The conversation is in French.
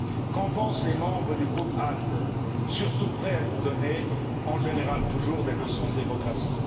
Qu'en pensent les membres du groupe ALDE surtout prêts à nous donner, en général toujours, des leçons de démocratie?